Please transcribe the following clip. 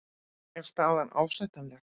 Er staðan ásættanleg?